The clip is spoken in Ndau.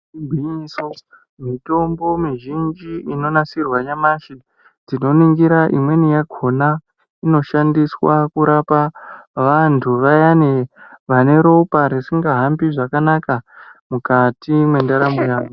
Gwinyiso, mitombo mizvinji inonasirwa nyamashi, tinoningira imweni yakona inoshandiswa kurapa vantu vayani vane ropa risingahambi zvakanaka mukati mwendaramo yavo.